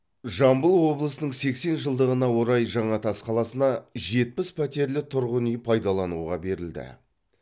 жамбыл облысының сексен жылдығына орай жаңатас қаласына жетпіс пәтерлі тұрғын үй пайдалануға берілді